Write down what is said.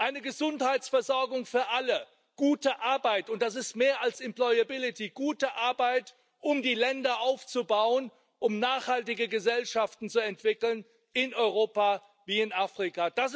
eine Gesundheitsversorgung für alle, gute Arbeit und das ist mehr als employability gute Arbeit, um die Länder aufzubauen, um nachhaltige Gesellschaften zu entwickeln, in Europa wie in Afrika.